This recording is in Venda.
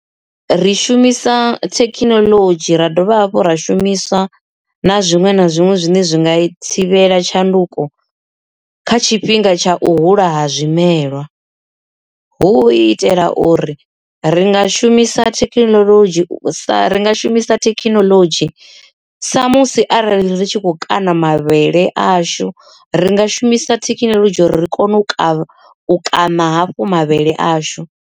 Ri shumisa thekhinolodzhi ra dovha hafhu ra shumiswa na zwiṅwe na zwiṅwe zwine zwi nga i thivhela tshanduko kha tshifhinga tsha u hula ha zwimela hu itela uri ri nga shumisa thekhinolodzhi sa ringa shumisa thekhinolodzhi sa musi arali ri tshi khou kana mavhele ashu ringa shumisa thekhinolodzhi ri kone u kana hafhu mavhele ashu.